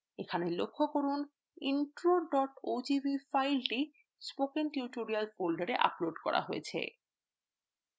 এখানে লক্ষ্য করুনintro ogv file spoken tutorial folder upload করা হয়েছে